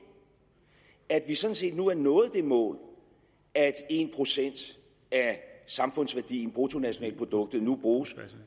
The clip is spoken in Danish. at vi sådan set nu har nået det mål at en procent af samfundsværdien bruttonationalproduktet nu bruges